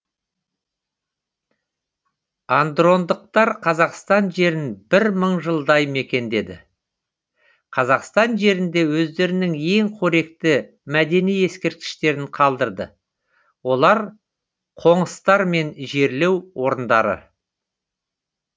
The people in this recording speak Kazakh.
андрондықтар қазақстан жерін бір мың жылдай мекендеді қазақстан жерінде өздерінің ең көрнекті мөдени ескерткіштерін қалдырды олар қоныстар мен жерлеу орындары